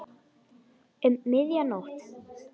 Um miðja nótt.